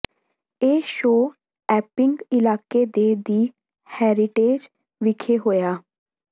ਇਹ show Epping ਇਲਾਕੇ ਦੇ ਦਿ ਹੈਰੀਟੇਜ ਵਿਖੇ ਹੋਇਆ